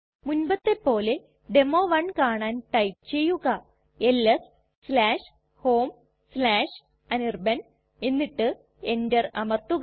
മുൻപത്തെ പോലെ ഡെമോ 1 കാണാൻ ടൈപ്പ് ചെയ്യുക എൽഎസ് homeanirban എന്നിട്ട് enter അമർത്തുക